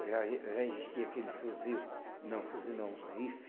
Já eh já existia aquele fuzil, não fuzil não, rifle.